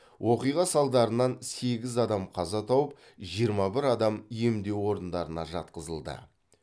оқиға салдарынан сегіз адам қаза тауып жиырма бір адам емдеу орындарына жатқызылды